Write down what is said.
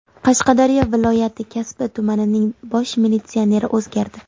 Qashqadaryo viloyati Kasbi tumanining bosh militsioneri o‘zgardi.